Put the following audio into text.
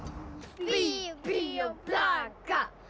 bí bí og blaka